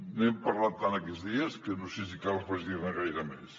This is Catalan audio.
n’hem parlat tant aquests dies que no sé si cal afegir ne gaire més